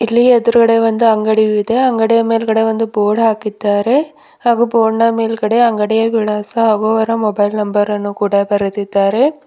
ಇಲ್ಲಿ ಎದುರುಗಡೆ ಒಂದು ಅಂಗಡಿಯು ಇದೆ ಅಂಗಡಿಯ ಮೇಲ್ಗಡೆ ಒಂದು ಬೋರ್ಡ್ ಹಾಕಿದ್ದಾರೆ ಹಾಗೂ ಬೋರ್ಡ್ ನ ಮೇಲ್ಗಡೆ ಅಂಗಡಿಯ ವಿಳಾಸ ಹಾಗೂ ಅವರ ಮೊಬೈಲ್ ನಂಬರ ನ್ನು ಕೂಡ ಬರೆದಿದ್ದಾರೆ.